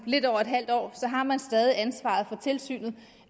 lidt over et halvt år har man stadig ansvaret for tilsynet